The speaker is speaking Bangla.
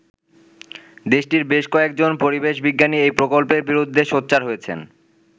দেশটির বেশ কয়েকজন পরিবেশ বিজ্ঞানী এই প্রকল্পের বিরুদ্ধে সোচ্চার হয়েছেন।